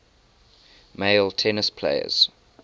male tennis players